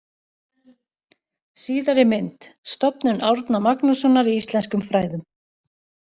Síðari mynd: Stofnun Árna Magnússonar í íslenskum fræðum.